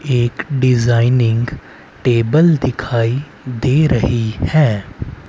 एक designing table दिखाई दे रही हैं।